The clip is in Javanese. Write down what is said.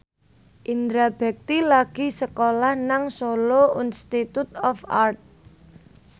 Indra Bekti lagi sekolah nang Solo Institute of Art